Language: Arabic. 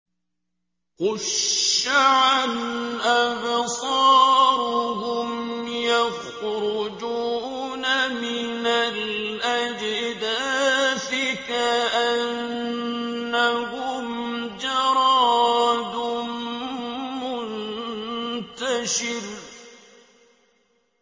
خُشَّعًا أَبْصَارُهُمْ يَخْرُجُونَ مِنَ الْأَجْدَاثِ كَأَنَّهُمْ جَرَادٌ مُّنتَشِرٌ